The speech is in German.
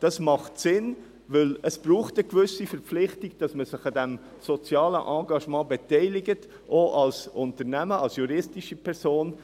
Dies ist sinnvoll, denn es braucht eine gewisse Verpflichtung, sich an diesem sozialen Engagement zu beteiligen, auch als juristische Person.